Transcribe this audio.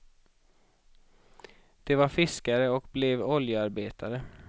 De var fiskare och blev oljearbetare.